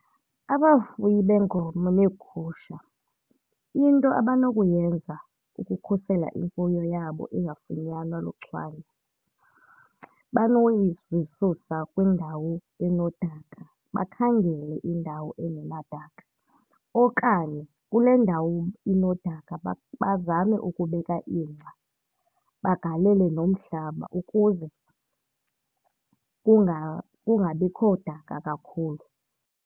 Abafuyi beenkomo neegusha into abanokuyenza ukukhusela imfuyo yabo ingafunyanwa luchwane, zisusa kwindawo enodaka bakhangele indawo engenadaka. Okanye kule ndawo inodaka bazame ukubeka ingca bagalele nomhlaba ukuze kungabikho daka kakhulu.